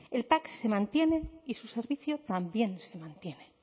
el pac se mantiene y su servicio también se mantiene